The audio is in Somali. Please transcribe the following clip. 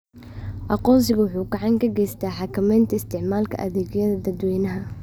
Aqoonsigu wuxuu gacan ka geystaa xakameynta isticmaalka adeegyada dadweynaha.